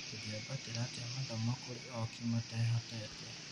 Tũngĩambatĩria atĩa mathomo kũrĩ ooki matehotete?